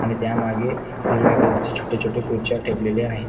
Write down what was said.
आणि त्यामागे हिरव्या कलर ची छोटे छोटे खुर्च्या ठेवलेल्या आहे.